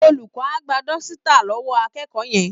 Olùkọ́ á gba dọ́sítà lọ́wọ́ akẹ́kọ̀ọ́ yẹn